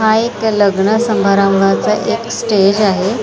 हा एक लग्न समारंभाच एक स्टेज आहे.